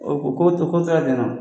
o ko to ko tora dɛna